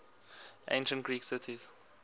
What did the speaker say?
ancient greek cities